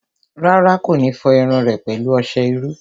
Rárá, kò ní fọ irun rẹ̀ pẹ̀lú ọsẹ iru